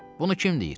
Bunu kim deyir?